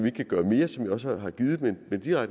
ikke kan gøre mere som jeg også har